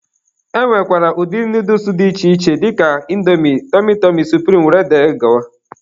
E nwekwara ụdị nooduls dị iche iche dịka Índomi, tọmy tọmy, supirim wdg.